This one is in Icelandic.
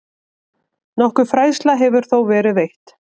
Nokkur fræðsla hefur þó verið veitt.